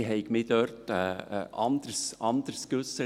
Ich hätte mich dort anders geäussert.